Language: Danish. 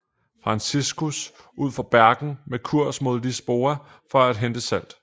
Franciscus ud fra Bergen med kurs mod Lisboa for at hente salt